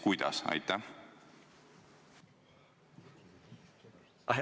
Kui jah, siis kuidas?